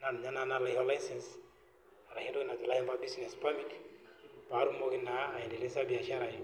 naa ninye naa naisho licence ashu business permit patumoki naa aendeleza biashara ai.